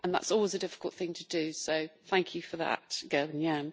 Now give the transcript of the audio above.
That is always a difficult thing to do, so thank you for that, Gerben-Jan.